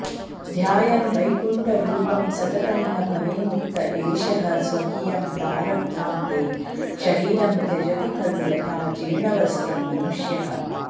ध्यायन् वैकुण्ठरूपं सततमिह भवेन्मुक्त एषः स्वकीयं प्रारब्धान्ते शरीरं त्यजति खलु यथा जीर्णवस्त्रं मनुष्यः